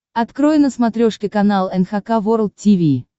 открой на смотрешке канал эн эйч кей волд ти ви